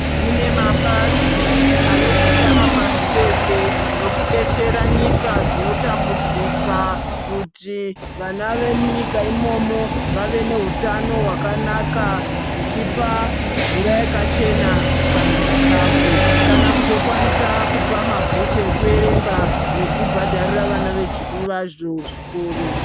Kune mabazi anozikanwa pashi reshe nekudetsera nyika dzinotambudzika kuti vana vemunyika imomo vave nehutano hwakanaka dzichipa mvura yakachena kana chikafu. Kana kutokwanisa kupa mabhuku ekuerenga nekubhadharira vana vazvo zvikoro.